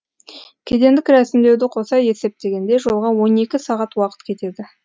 кедендік рәсімдеуді қоса есептегенде жолға он екі сағат уақыт кетеді